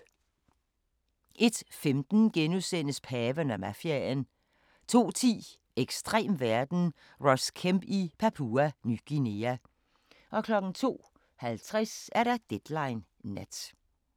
01:15: Paven og mafiaen * 02:10: Ekstrem verden – Ross Kemp i Papua Ny Guinea 02:50: Deadline Nat